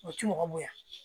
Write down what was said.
O ti mɔgɔ bonya